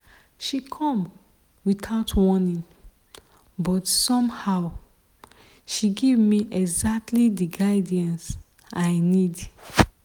she come without warning but somehow she give me exactly the guidance i need.